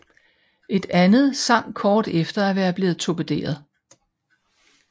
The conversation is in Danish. Et andet sank kort efter at være blevet torpederet